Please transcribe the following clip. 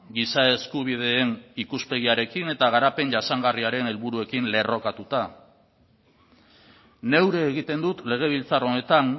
giza eskubideen ikuspegiarekin eta garapen jasangarriaren helburuekin lerrokatuta neure egiten dut legebiltzar honetan